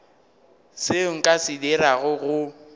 seo nka se dirago go